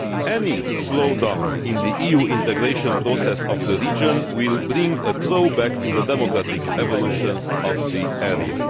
Any slowdown in the EU integration process of the region will have a throwback effect on the democratic evolution of the area.